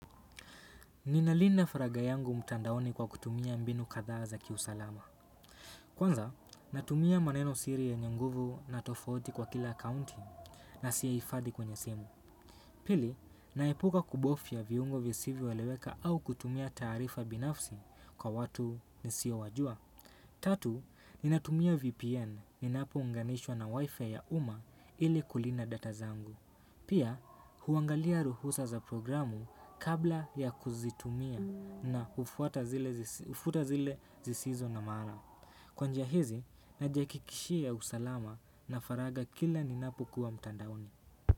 Ni nalinda faraga yangu mtandaoni kwa kutumia mbinu katha za kiusalama. Kwanza, natumia maneno siri yenye nguvu na tofauti kwa kila akaunti na siifadhi kwenye simu. Pili, naepuka kubofya viungo visivyo eleweka au kutumia taarifa binafsi kwa watu nisio wajua. Tatu, ninatumia VPN ninapo unganishwa na wifi ya uma ili kulinda data zangu. Pia, huangalia ruhusa za programu kabla ya kuzitumia na ufuta zile zisizo na maana. Kwa njia hizi, najiakikishia usalama na faraga kila ninapokuwa mtandaoni.